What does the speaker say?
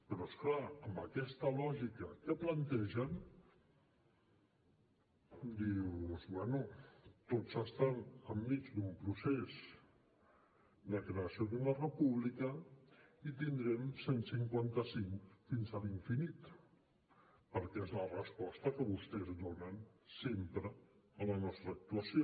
però és clar amb aquesta lògica que plantegen dius bé tots estan enmig d’un procés de creació d’una república i tindrem cent i cinquanta cinc fins a l’infinit perquè és la resposta que vostès donen sempre a la nostra actuació